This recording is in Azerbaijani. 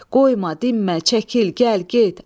Qoyma, dinmə, çəkil, gəl, get!